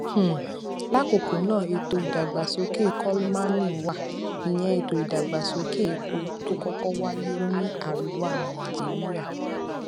um lákòókó ná ètò ìdàgbàsókè kolmani wà ìyẹn ètò ìdàgbàsókè epo tó kókó wáyé ní àríwá nàìjíríà